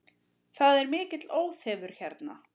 Það er mikill óþefur hérna